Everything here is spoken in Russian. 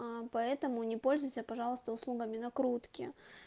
м поэтому не пользуйся пожалуйста услугами накрутки